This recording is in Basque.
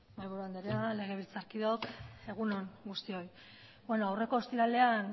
mahaiburu anderea legebiltzarkideok egun on guztioi aurreko ostiralean